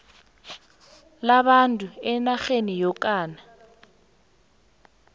labantu enarheni yokana